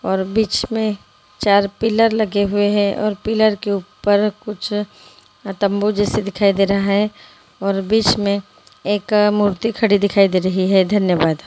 और बीच में चार पिलर लगे हुए हैं और पिलर के ऊपर कुुछ तंबू जेसा दिखाई दे रहा है और बीच में एक मूर्ति खड़ी दिखाई दे रही है धन्यवाद|